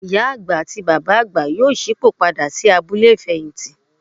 Ìyá àgbà àti Bàbá àgbà yóò ṣípò padà sí abúlé ìfẹ̀yìntì.